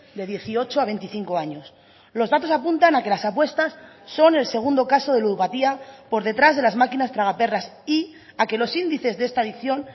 de dieciocho a veinticinco años los datos apuntan a que las apuestas son el segundo caso de ludopatía por detrás de las máquinas tragaperras y a que los índices de esta adicción